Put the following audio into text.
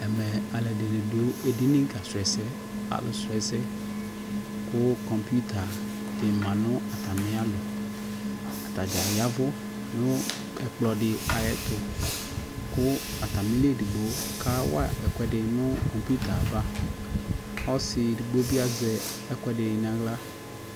Ɛmɛ alʊɛdɩnɩ dʊedini kasu ɛsɛ kʊ komputadi dɩ ma nʊ atami alɔ atadza yavʊ nʊ ɛkplɔdɩ ayʊ ɛtʊ kʊ atamili ɔlɔ edigbo kawa ɛsɛ nʊ komputava ɔsɩ edugbobi azɛ ɛkʊɛdɩ nʊ aɣla